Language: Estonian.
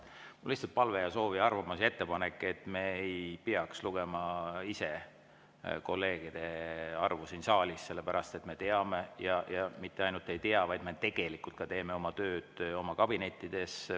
Mul on lihtsalt palve ja soov ja arvamus ja ettepanek, et me ei peaks lugema kolleegide arvu siin saalis, sellepärast et me teame, ja mitte ainult ei tea, vaid me tegelikult teeme tööd ka oma kabinettides.